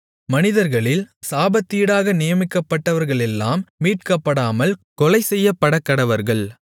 மனிதர்களில் சாபத்தீடாக நியமிக்கப்பட்டவர்களெல்லாம் மீட்கப்படாமல் கொலைசெய்யப்படக்கடவர்கள்